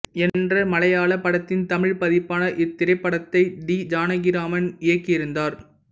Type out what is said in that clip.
என்ற மலையாளப் படத்தின் தமிழ்ப் பதிப்பான இத் திரைப்படத்தை டி ஜானகிராம் இயக்கியிருந்தார்